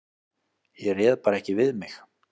Ég réð bara ekki við mig.